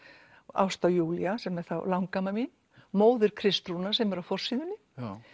Ásta Júlía sem er langamma mín móðir Kristrúnar sem er á forsíðunni